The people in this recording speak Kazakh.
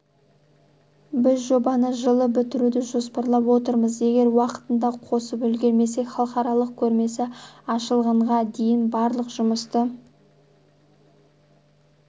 біз жобаны жылы бітіруді жоспарлап отырмыз егер уақытында қосып үлгермесек халықаралық көрмесі ашылғанға дейін барлық жұмысты